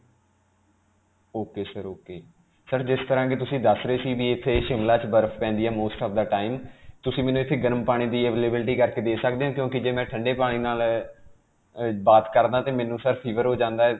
ok sir. ok. sir, ਜਿਸ ਤਰ੍ਹਾਂ ਕਿ ਤੁਸੀਂ ਦੱਸ ਰਹੇ ਸੀ ਕਿ ਇਥੇ Shimla 'ਚ ਬਰਫ ਪੈਂਦੀ ਹੈ most of the time. ਤੁਸੀਂ ਮੈਨੂੰ ਇਥੇ ਗਰਮ ਪਾਣੀ ਦੀ availability ਕਰਕੇ ਦੇ ਸਕਦੇ ਹੋ ਕਿਉਂਕਿ ਜੇ ਮੈਂ ਠੰਡੇ ਪਾਣੀ ਨਾਲ ਅਅ ਅਅ bath ਕਰਦਾ ਤੇ ਮੈਨੂੰ sir fever ਹੋ ਜਾਂਦਾ ਹੈ.